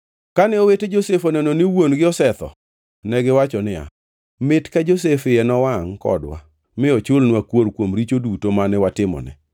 Kane owete Josef oneno ni wuon-gi osetho, negiwacho niya, “Mit ka Josef iye nowangʼ kodwa, mi ochulnwa kuor kuom richo duto mane watimone?”